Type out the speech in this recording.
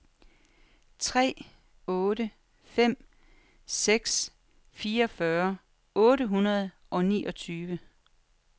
tre otte fem seks fireogfyrre otte hundrede og niogtyve